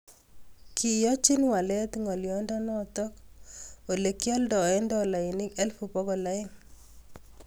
Kiyachin waleet ngalyondonotok olii kealdae dolainik elfut pokol aenge